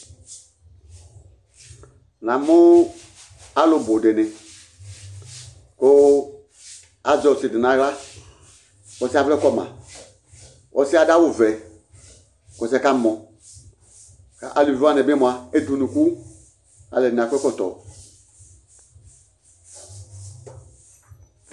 Namʋ alʋ bʋ dɩnɩ kʋ azɛ ɔsɩ dɩ nʋ aɣla, kʋ ɔsɩ yɛ avlɛ kɔ ma Ɔsɩ yɛ adʋ awʋvɛ kʋ ɔsɩ yɛ kamɔ kʋ aluvi wanɩ bɩ mʋa, ede unuku Alʋɛdɩnɩ akɔ ɛkɔtɔ